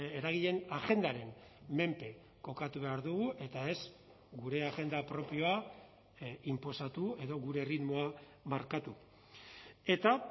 eragileen agendaren menpe kokatu behar dugu eta ez gure agenda propioa inposatu edo gure erritmoa markatu eta